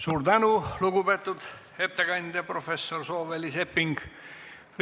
Suur tänu, lugupeetud ettekandja professor Sooväli-Sepping!